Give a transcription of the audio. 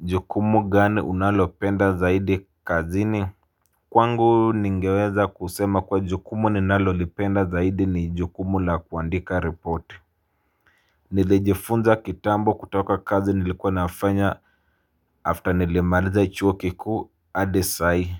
Jukumu gani unalo penda zaidi kazini. Kwangu ningeweza kusema kuwa jukumu ninalo lipenda zaidi ni jukumu la kuandika ripoti. Nilijifunza kitambo kutoka kazi nilikuwa nafanya after nilemaliza chuo kikuu adisai